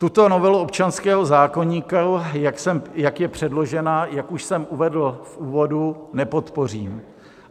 Tuto novelu občanského zákoníku, jak je předložena, jak už jsem uvedl v úvodu, nepodpořím.